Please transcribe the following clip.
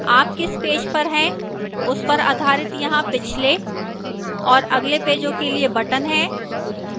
आप किस पेज पर हैं उस पर आधारित यहां पिछले और अगले पेजों के लिए buttons हैं